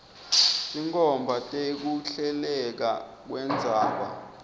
tinkhomba tekuhleleka kwendzaba